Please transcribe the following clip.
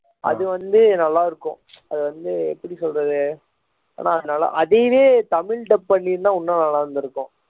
அது வந்து நல்லா இருக்கும் அது வந்து எப்படி சொல்றது ஆனால் அது நல்லா அதையே தமிழ் dub பண்ணி இருந்தா இன்னும் நல்லா இருந்திருக்கும்